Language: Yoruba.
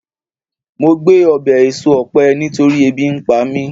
mo gbe obe eso òpe nitori ebi npa mi